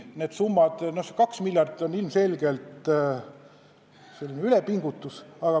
Kaks miljardit on ilmselgelt ülepingutus.